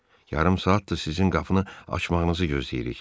Yarım saatdır sizin qapını açmağınızı gözləyirik.